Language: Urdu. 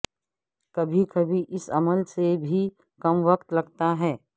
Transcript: کبھی کبھی اس عمل سے بھی کم وقت لگتا ہے